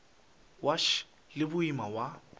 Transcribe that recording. wa š le boima wa